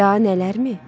Daha nələr mi?